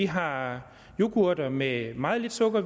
har yoghurter med meget lidt sukker